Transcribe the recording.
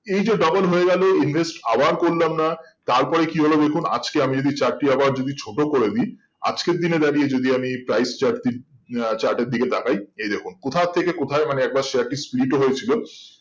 এই জো double হয়ে গেল invest আবার করলাম না তার পরে কি হলো দেখুন আজ কে আমি যদি chart টি আবার যদি ছোট করেদি আজকের দিনে দাঁড়িয়ে যদি আমি price chart দিকে তাকাই এই দেখুন কোথা থেকে কোথায় মানে একবার share টি speed ও হয়ে ছিল